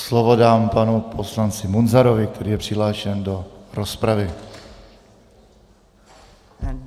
Slovo dám panu poslanci Munzarovi, který je přihlášen do rozpravy.